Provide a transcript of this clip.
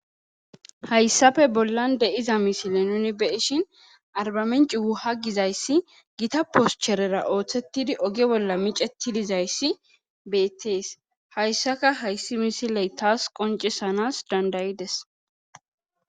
Hayssafe bollan de iza misile nuni beishin arbamenci wuha gizayssi gita poscherera ooththettidi oge bolla micetidizayssi beettees hayssaka hayssi misiley taas qoncisanas dandayi7ides.